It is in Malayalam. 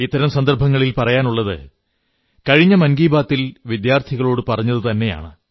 ഇത്തരം സന്ദർഭത്തിൽ പറയാനുള്ളത് കഴിഞ്ഞ മൻ കീ ബാത്തിൽ വിദ്യാർഥികളോടു പറഞ്ഞത് തന്നെയാണ്